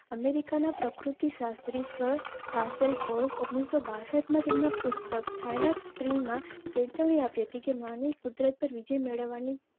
America ના પ્રકૃતિ શાસ્ત્રીક ઓગણીસો બાસઠ માં તેમના પુસ્તક ચેતવણી આપી હતી કે માનવી કુદરત પર વિજય મેળવવાની.